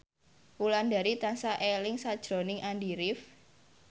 Wulandari tansah eling sakjroning Andy rif